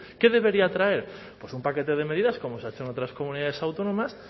qué debería traer pues un paquete de medidas como se ha hecho en otras comunidades autónomas